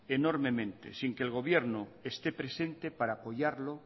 enormemente sin que el gobierno esté presente para apoyarlo